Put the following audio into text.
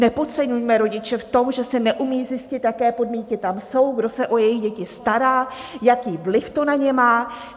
Nepodceňujme rodiče v tom, že si neumějí zjistit, jaké podmínky tam jsou, kdo se o jejich děti stará, jaký vliv to na ně má.